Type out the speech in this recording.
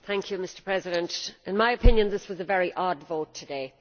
Mr President, in my opinion this was a very odd vote today.